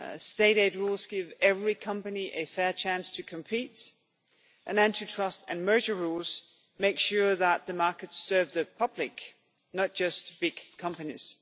State aid rules give every company a fair chance to compete, and anti trust and merger rules make sure that the markets serve the public, not just big companies.